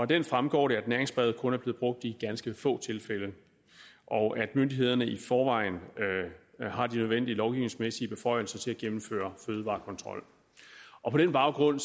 den fremgår det at næringsbrevet kun er blevet brugt i ganske få tilfælde og at myndighederne i forvejen har de nødvendige lovgivningsmæssige beføjelser til at gennemføre fødevarekontrol på den baggrund